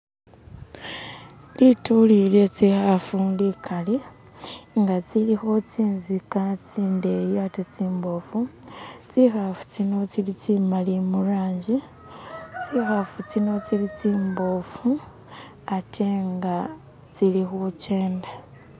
Lituli lye tsikhafu likali nga tsilikho tsintsika tsindeyi ate tsimbofu, tsikhafu tsino tsili tsimali mu'rangi tsikhafu tsino tsili tsimbofu ate nga tsili khukenda.